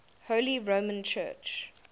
holy roman church